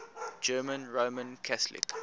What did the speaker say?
german roman catholic